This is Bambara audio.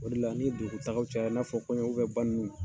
O de la ni dugutagaw cayara, i n'a fɔ kɔɲɔ banni ninnu